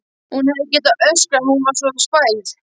Hún hefði getað öskrað, hún var svo spæld.